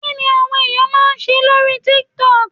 Kí ni àwọn ènìyàn máa ń ṣe lórí TikTok.